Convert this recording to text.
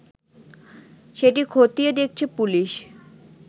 সেটি খতিয়ে দেখছে পুলিশ